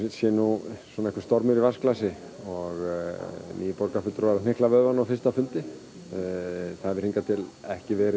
sé nú stormur í vatnsglasi nýir borgarfulltrúar að hnykla vöðvana á fyrsta fundi það hefur hingað til ekki verið